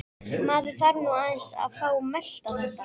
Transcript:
Maður þarf nú aðeins að fá að melta þetta.